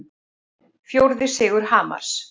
Fjórði sigur Hamars